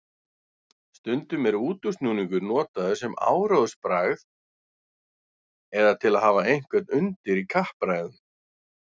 Stundum er útúrsnúningur notaður sem áróðursbragð eða til að hafa einhvern undir í kappræðum.